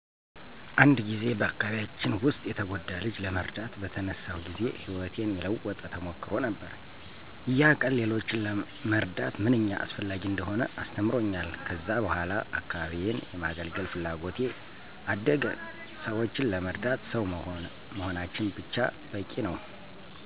አንድ ጊዜ በአካባቢያችን ውስጥ የተጎዳ ልጅ ለመርዳት በተነሳሁ ጊዜ ሕይወቴን የለወጠ ተሞክሮ ነበር። ያ ቀን ሌሎችን መርዳት ምንኛ አስፈላጊ እንደሆነ አስተምሮኛል። ከዚያ በኋላ አካባቢዬን የማገለገል ፍላጎቴ አደገ። ሰዎችን ለመርዳት ሰው መሆናችን ብቻ በቂ ነው።